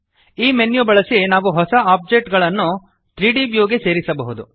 ಈ ಮೆನ್ಯು ಬಳಸಿ ನಾವು ಹೊಸ ಆಬ್ಜೆಕ್ಟ್ ಗಳನ್ನು 3ದ್ ವ್ಯೂ ಗೆ ಸೇರಿಸಬಹುದು